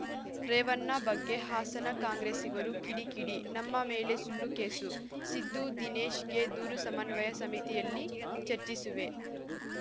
ರೇವಣ್ಣ ಬಗ್ಗೆ ಹಾಸನ ಕಾಂಗ್ರೆಸ್ಸಿಗರು ಕಿಡಿ ಕಿಡಿ ನಮ್ಮ ಮೇಲೆ ಸುಳ್ಳು ಕೇಸು ಸಿದ್ದು ದಿನೇಶ್‌ಗೆ ದೂರು ಸಮನ್ವಯ ಸಮಿತಿಯಲ್ಲಿ ಚರ್ಚಿಸುವೆ